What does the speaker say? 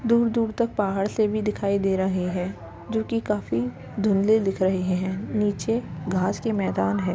दूर-दूर तक पहाड़ से भी दिखाई दे रहे हैं जो कि काफी धुंधले दिख रहे हैं। नीचे घास के मैदान हैं।